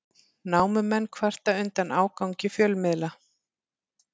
Námumenn kvarta undan ágangi fjölmiðla